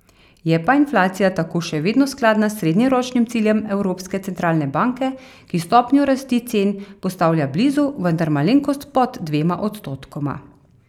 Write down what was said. Je pa inflacija tako še vedno skladna s srednjeročnim ciljem Evropske centralne banke, ki stopnjo rasti cen postavlja blizu, vendar malenkost pod dvema odstotkoma.